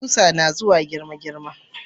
Kusa nazuwa girma girma